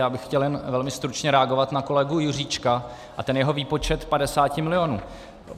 Já bych chtěl jen velmi stručně reagovat na kolegu Juříčka a ten jeho výpočet 50 milionů.